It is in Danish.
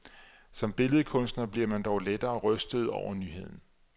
Som billedkunstner bliver man dog lettere rystet over nyheden.